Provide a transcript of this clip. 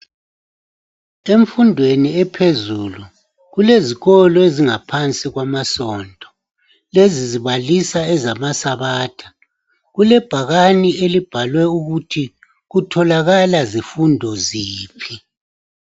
Emfundweni ephezulu kulezikolo ezingaphansi kwamasonto lezi zibalisa ezamasabatha, kulebhakane elibhalwe ukuthi kutholakala zifundo ziphi.